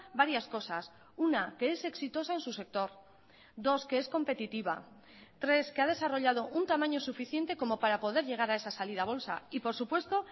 varias cosas una que es exitosa en su sector dos que es competitiva tres que ha desarrollado un tamaño suficiente como para poder llegar a esa salida a bolsa y por supuesto